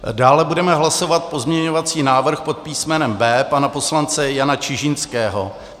Dále budeme hlasovat pozměňovací návrh pod písmenem B pana poslance Jana Čižinského.